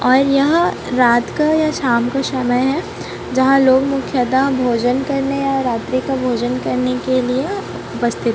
और यहां रात का या शाम का समय है जहां लोग मुख्यतः भोजन करने और रात्रि का भोजन करने के लिए उपस्थित--